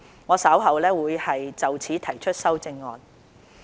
我稍後會就此提出修正案。